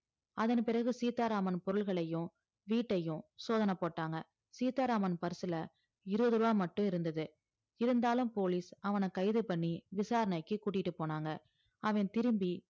அதன்பிறகு சீத்தா ராமன் பொருள்களையும் வீட்டையும் சோதனை போட்டாங்க சீத்தா ராமன் பர்சுல இருவதுருவா மட்டும் இருந்தது இருந்தாலும் police அவன கைது பண்ணி விசாரனைக்கி கூட்டிட்டு போனாங்க அவன் திரும்பி